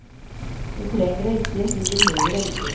Du trenger det ikke, du behøver det ikke.